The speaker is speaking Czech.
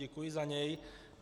Děkuji za něj.